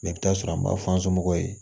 Mɛ i bɛ t'a sɔrɔ an b'a fɔ somɔgɔw ye